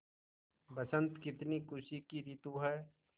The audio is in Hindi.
बसंत कितनी खुशी की रितु है